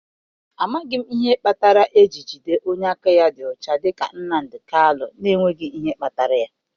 Amaghị m ihe kpatara eji jide onye aka ya dị ọcha dịka Nnamdi Kanu n'enweghị ihe kpatara ya.